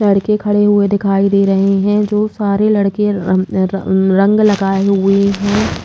लड़के खड़े हुए दिखाई दे रहे हैं जो सारे लड़के रं रं रंग लगाए हुऐ हैं।